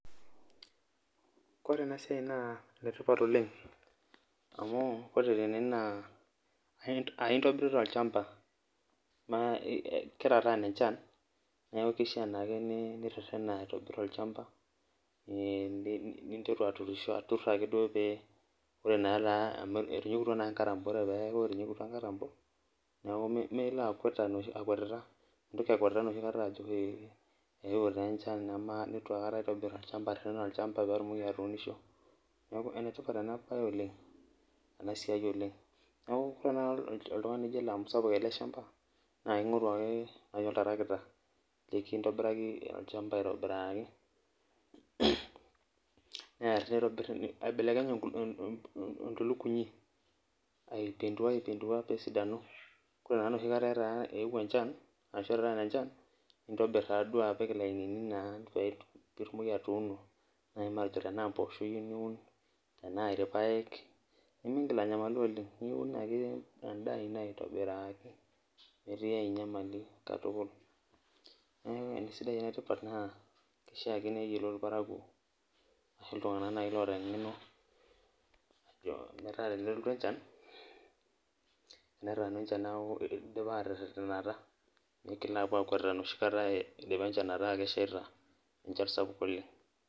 Koree enasiai na enetipat oleng amu ore tene na aintobirita olchamba na ketataana enchan neaku kishaa naake niririna aun olchamba, ninteru arem enkop ake duo amu etinyikutwa nkatamno, ore peaku etinyikutwa nkatambo neaku meilo akutita enoshia kata ajo eeuo taa enchan, nituakata aitobir areren olchamba paitumoki atuunisho neaku enetipat enabae oleng enasiai oleng ore tanakata oltungani lijo ele amu aisapuk eleshamba na kingoru ake oltarakita likintobiraki ake olchamba aitobiraki near nitobir aibelekeny entulugumi aipenduaaipendua pesidanu koree na enoshi kata peaku ewuo echan arashu etataana enchanbnintobir apik ilainini petumokibatiuno matejo nai tanaa mpoosho iyieu niun tanaa irpaek nimingil anyamalilu oleng niun ake endaa ino aitobirakii metiibainyamali katukul neaku enetipat amu kishaa ake niyiolou irparakuo ashu ltunganak oata engeno metaa tenelotu enchan idipa aterenata migilbapuo akwet enoshi kata idipa enchan ataa keshaita enchan sapuk oleng.